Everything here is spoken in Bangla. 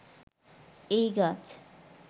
এই গাছ